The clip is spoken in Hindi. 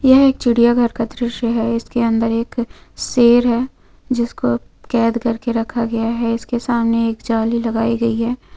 यह एक चिड़िया घर का दृश्य है इसके अंदर एक शेर है जिसको कैद करके रखा गया है इसके सामने एक जाली लगाई गई हैं।